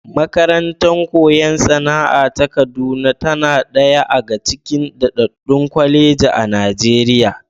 Makarantar koyon sana'a ta Kaduna tana ɗaya aga cikin daɗaɗɗun kwalejoji a Najeriya.